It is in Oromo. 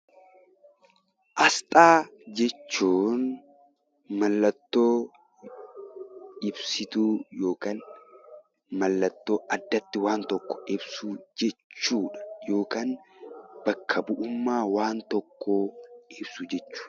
Asxaa jechuun mallattoo ibsituu yookaan mallattoo addatti waan tokko ibsu jechuudha. Yookaan bakka bu'ummaa waan tokkoo ibsu jechuudha.